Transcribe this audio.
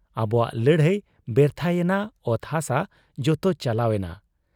ᱟᱵᱚᱣᱟᱜ ᱞᱟᱹᱲᱦᱟᱹᱭ ᱵᱮᱨᱛᱷᱟ ᱭᱮᱱᱟ ᱾ ᱚᱛ ᱦᱟᱥᱟ ᱡᱚᱛᱚ ᱪᱟᱞᱟᱣ ᱮᱱᱟ ᱾